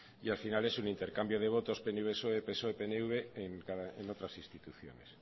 y al final es un intercambio de votos pnv psoe psoe pnv en otras instituciones